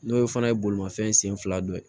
N'o fana ye bolimafɛn sen fila dɔ ye